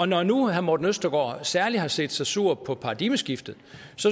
når nu herre morten østergaard særlig har set sig sur på paradigmeskiftet